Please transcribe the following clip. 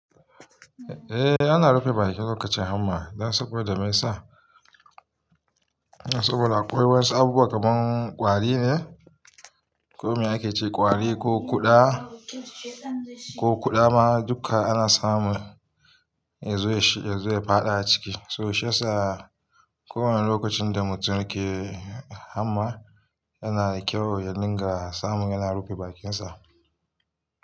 Eh ana rufe bakin lokacin hamma dan saboda me yasa? Saboda akwai wasu abubuwa kaman ƙwari ne, ko me ake ce ƙwari ko kuɗa, ko kuɗa ma duka ana samu ya zo shi ya zo ya faɗa a ciki. To shi yasa ko wane lokacin da mutum ke hamma yana kyau ya dinga samu yana rufe bakinsa.